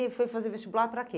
E foi fazer vestibular para quê?